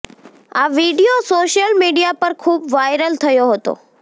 આ video social media પર ખૂબ વાયરલ થયો હતો